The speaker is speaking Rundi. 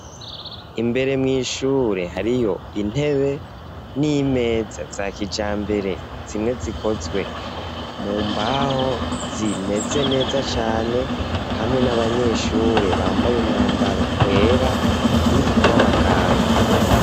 Imbere mw'ishure, hariyo, intebe n'imeza, za kijambere, zimwe zikozwe, mu mbaho, zimeze neza cane; hamwe n'abanyeshure, bambaye, umwambaro wera, w'abaganga.